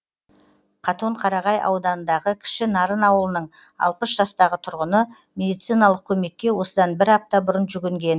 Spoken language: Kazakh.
қатонқарағай ауданындағы кіші нарын ауылының алпыс жастағы тұрғыны медициналық көмекке осыдан бір апта бұрын жүгінген